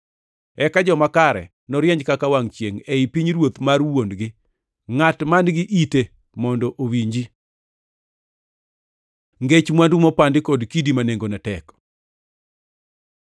Eka joma kare norieny kaka wangʼ chiengʼ ei pinyruoth mar Wuon-gi. Ngʼat man-gi ite to mondo owinji. Ngech mwandu mopandi kod kidi ma nengone tek